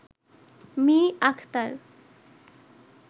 me Akhtar